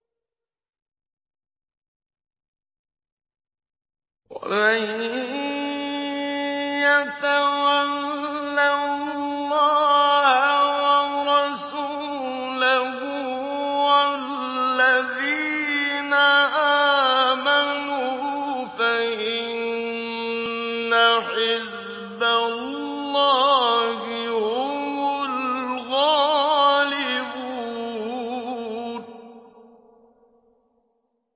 وَمَن يَتَوَلَّ اللَّهَ وَرَسُولَهُ وَالَّذِينَ آمَنُوا فَإِنَّ حِزْبَ اللَّهِ هُمُ الْغَالِبُونَ